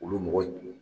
Olu mɔgɔ dun